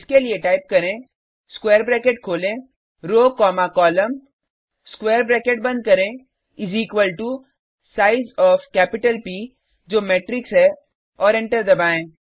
इसके लिए टाइप करें स्क्वायर ब्रैकेट खोलें row comma column square bracket बंद करें इस equal to size O F capital P जो मेट्रिक्स है और एंटर दबाएँ